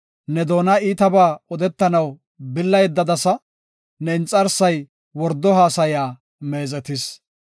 Ne doona iitabaa odetanaw billa yeddadasa; Ne inxarsay wordo haasaya meezetis.